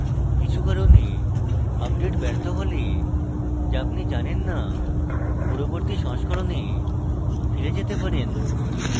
কিছু কারণে আপডেট ব্যর্থ হলে যা আপনি জানেন in পূর্ববর্তী সংস্করণে ফিরে যেতে পারেন